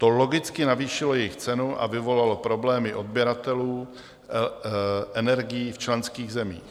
To logicky navýšilo jejich cenu a vyvolalo problémy odběratelů energií v členských zemích.